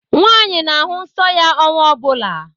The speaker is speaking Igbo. Nwaanyị na-ahụ nsọ ya ọnwa ọ bụla.